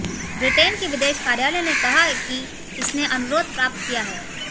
Britain के विदेश कार्यालय ने कहा कि इसने अनुरोध प्राप्त किया है